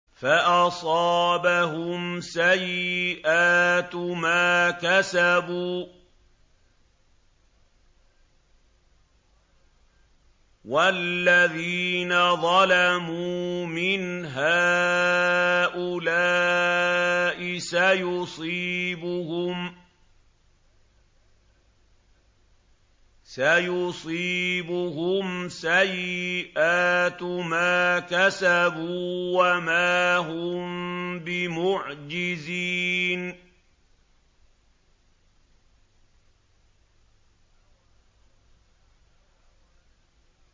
فَأَصَابَهُمْ سَيِّئَاتُ مَا كَسَبُوا ۚ وَالَّذِينَ ظَلَمُوا مِنْ هَٰؤُلَاءِ سَيُصِيبُهُمْ سَيِّئَاتُ مَا كَسَبُوا وَمَا هُم بِمُعْجِزِينَ